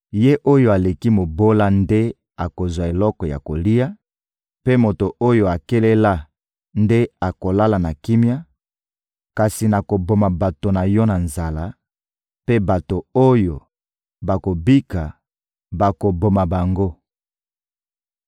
Ye oyo aleki mobola nde akozwa eloko ya kolia, mpe moto oyo akelela nde akolala na kimia; kasi nakoboma bato na yo na nzala; mpe bato oyo bakobika, bakoboma bango.